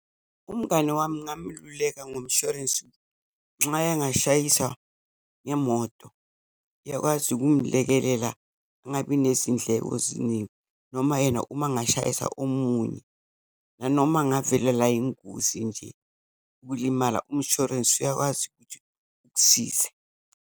Umngani wami, ngingamluleka ngomshorensi nxa angashayisa ngemoto, iyakwazi ukumlekelela angabi nezindleko eziningi, noma yena uma angashayisa omunye, nanoma angavelela yingozi nje, ukulimala. Umshorense uyakwazi ukuthi ukusize.